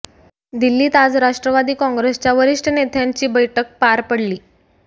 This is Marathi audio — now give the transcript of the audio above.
दिल्लीत आज राष्ट्रवादी कॉंग्रेसच्या वरिष्ठ नेत्यांची बैठक पार पडली